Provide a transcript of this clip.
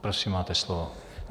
Prosím, máte slovo.